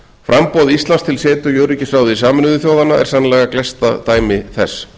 framboð íslands til setu í öryggisráði sameinuðu þjóðanna er sennilega gleggsta dæmi þess